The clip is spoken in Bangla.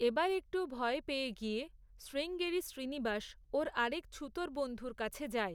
এবার একটু ভয় পেয়ে গিয়ে, শ্রীঙ্গেরি শ্রীনিবাস, ওর আরেক ছুতোর বন্ধুর কাছে যায়।